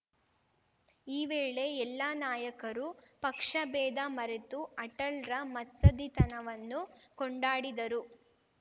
ಈ ವೇಳೆ ಎಲ್ಲಾ ನಾಯಕರು ಪಕ್ಷಬೇಧ ಮರೆತು ಅಟಲ್‌ರ ಮತ್ಸದ್ಧಿತನವನ್ನು ಕೊಂಡಾಡಿದರು